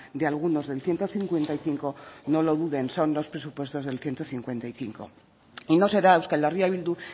de algunos del ciento cincuenta y cinco no lo duden son los presupuestos del ciento cincuenta y cinco y no será euskal herria bildu